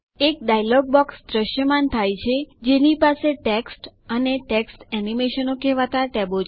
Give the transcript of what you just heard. એક dialog box દ્રશ્યમાન થાય છે જેની પાસે ટેક્સ્ટ અને ટેક્સ્ટ એનિમેશન કહેવાતા ટેબો છે